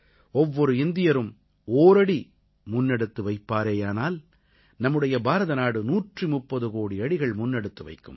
ஒவ்வொரு இந்தியரும் ஓரடி முன்னெடுத்து வைப்பாரேயானால் நம்முடைய பாரதநாடு 130 கோடி அடிகள் முன்னெடுத்து வைக்கும்